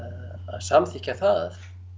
samþykkja það